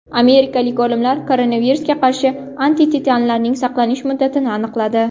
Amerikalik olimlar koronavirusga qarshi antitanalarning saqlanish muddatini aniqladi.